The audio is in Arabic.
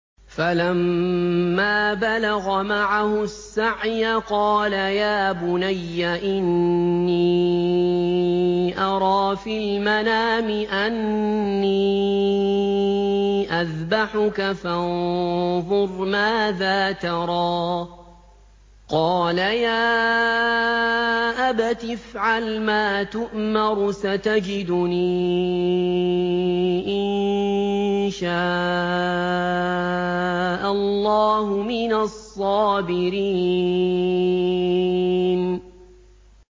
فَلَمَّا بَلَغَ مَعَهُ السَّعْيَ قَالَ يَا بُنَيَّ إِنِّي أَرَىٰ فِي الْمَنَامِ أَنِّي أَذْبَحُكَ فَانظُرْ مَاذَا تَرَىٰ ۚ قَالَ يَا أَبَتِ افْعَلْ مَا تُؤْمَرُ ۖ سَتَجِدُنِي إِن شَاءَ اللَّهُ مِنَ الصَّابِرِينَ